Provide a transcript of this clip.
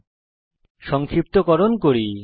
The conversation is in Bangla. এখন টিউটোরিয়াল সংক্ষিপ্তকরণ করব